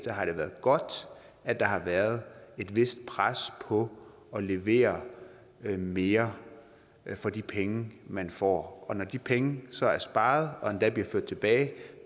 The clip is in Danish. har det været godt at der har været et vist pres på at levere mere for de penge man får og når de penge så er sparet og endda bliver ført tilbage